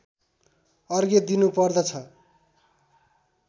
अर्घ्य दिनुपर्दछ